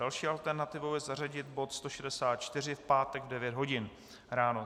Další alternativou je zařadit bod 164 v pátek v 9 hodin ráno.